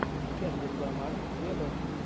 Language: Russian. кендрик ламар вево